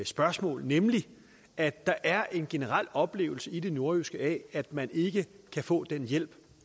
spørgsmål nemlig at der er en generel oplevelse i det nordjyske af at man ikke kan få den hjælp